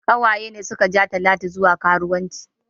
Ƙawaye ne suka ja talatu zuwa karuwanci